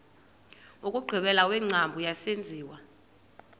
wokugqibela wengcambu yesenziwa